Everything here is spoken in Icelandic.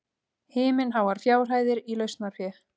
Himinháar fjárhæðir í lausnarfé